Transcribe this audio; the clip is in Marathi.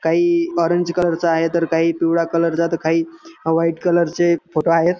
काही ऑरेंज कलर चा आहेतर काही पिवळ्या कलर चा तर काही व्हाईट कलर चे फोटो आहेत.